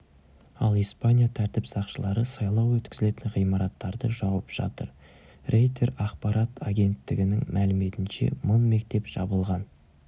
ал испания тәртіп сақшылары сайлау өткізілетін ғимараттарды жауып жатыр рейтер ақпарат агенттігінің мәліметінше мың мектеп жабылған